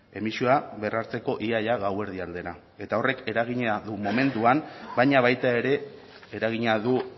emisioa berrartzeko ia ia gauerdi aldera eta horrek eragina du momentuan baina baita ere eragina du